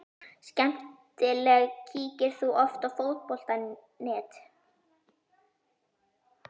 Skemmtileg Kíkir þú oft á Fótbolti.net?